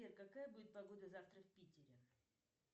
сбер какая будет погода завтра в питере